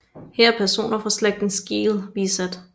Her er personer fra slægten Skeel bisat